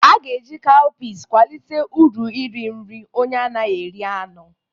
A ga-eji cowpeas kwalite uru nri nri onye anaghị eri anụ.